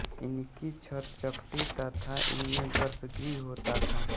इनकी छत चपटी तथा इनमें गर्भगृह होता था